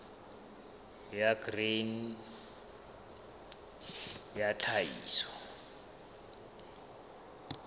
ya grain sa ya tlhahiso